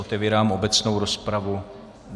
Otevírám obecnou rozpravu.